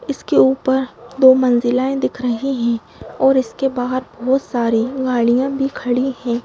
इसके ऊपर दो मंजिलाये दिख रही हैं और इसके बाहर बहुत सारी गाड़ियां भी खड़ी हैं।